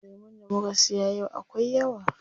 Lemun da muka siya yau akwai yawa.